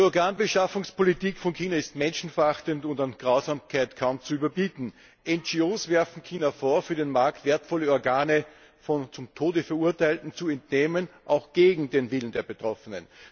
Die Organbeschaffungspolitik von China ist menschenverachtend und an Grausamkeit kaum zu überbieten. NGOs werfen China vor, für den Markt wertvolle Organe von zum Tode Verurteilten zu entnehmen, auch gegen den Willen der Betroffen.